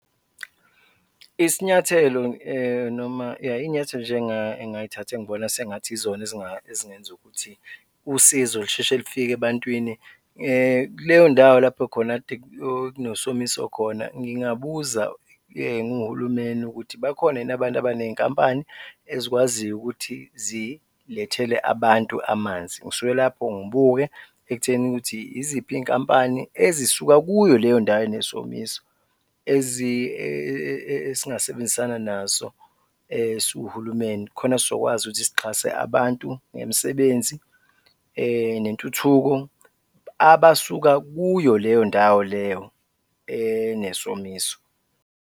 Isinyathelo noma ya, iy'nyathelo nje engingay'thatha engibona sengathi yizona ezingenza ukuthi usizo lisheshe lifike ebantwini, kuleyo ndawo lapho khona kade kunesomiso khona, ngingabuza nginguhulumeni ukuthi bakhona yini abantu abaney'nkampani ezikwaziyo ukuthi zilethele abantu amanzi. Ngisuke lapho ngibuke ekutheni ukuthi yiziphi iy'nkampani ezisuka kuyo leyo ndawo enesomiso esingasebenzisana nazo siwuhulumeni khona sizokwazi ukuthi sixhase abantu ngemisebenzi nentuthuko abasuka kuyo leyo ndawo leyo enesomiso.